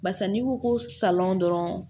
Barisa n'i ko ko salɔn dɔrɔn